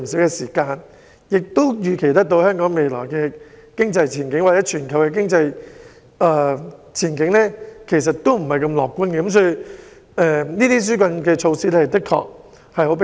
我甚至可以預期香港經濟前景或全球經濟前景均不太樂觀，所以這些紓困措施的確很迫切。